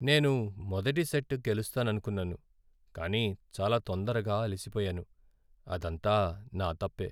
నేను మొదటి సెట్ గెలుస్తాననుకున్నాను, కానీ చాలా తొందరగా అలిసిపోయాను. అదంతా నా తప్పే.